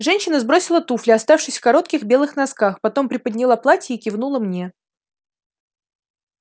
женщина сбросила туфли оставшись в коротких белых носках потом приподняла платье и кивнула мне